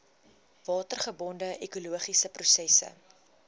watergebonde ekologiese prosesse